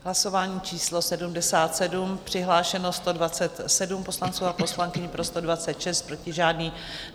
Hlasování číslo 77, přihlášeno 127 poslanců a poslankyň, pro 126, proti žádný.